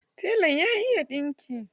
Telan ya iya ɗinki.